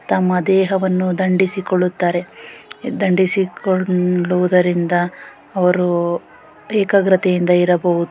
ತಮ್ಮ ದೇಹವನ್ನು ದಂಡಿಸಿಕೊಳ್ಳುತ್ತಾರೆ ದಂಡಿಸಿಕೊಳ್ಳುವುದರಿಂದ ಅವರು ಏಕಾಗ್ರತೆ ಇಂದ ಇರಬಹುದು.